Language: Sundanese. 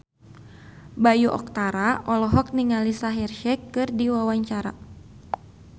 Bayu Octara olohok ningali Shaheer Sheikh keur diwawancara